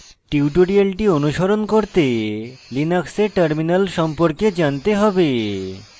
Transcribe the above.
tutorial অনুসরণ করতে linux terminal সম্পর্কে জানতে have